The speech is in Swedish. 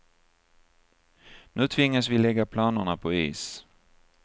Nu tvingas vi lägga planerna på is.